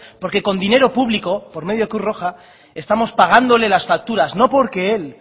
porque con dinero público por medio de cruz roja estamos pagándole las facturas no porque él